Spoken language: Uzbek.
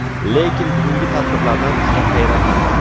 Lekin bugungi tadbirlardan juda hayratlandim.